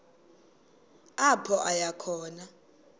apho aya khona